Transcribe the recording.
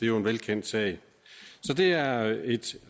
jo en velkendt sag så det er et